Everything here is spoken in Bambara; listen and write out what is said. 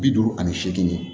Bi duuru ani seegin